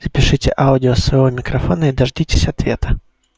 запишите аудио свой микрофон или дождитесь ответа